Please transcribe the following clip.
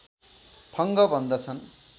फंग भन्दछन्